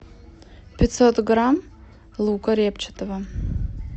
пятьсот грамм лука репчатого